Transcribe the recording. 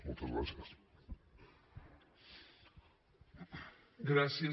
moltes gràcies